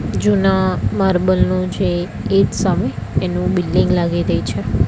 જુના માર્બલ નુ છે એજ સામે એનું બિલ્ડીંગ લાગી રહી છે.